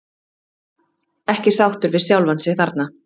Ekki sáttur við sjálfan sig þarna.